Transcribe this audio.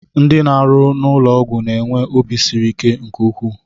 Ndị na-arụ n'ụlọọgwụ na-enwe obi siri ike nke ukwuu